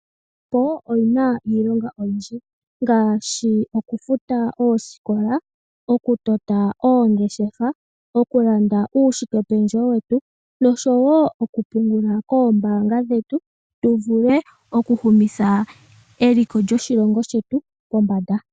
Iisimpo oyina iilonga oyindji ngaashi okufuta oosikola, okutota oongeshefa, okulanda uushikependjewo wetu noshowo okupungula koombaanga dhetu tu vule okuhumitha eliko lyetu pombanda.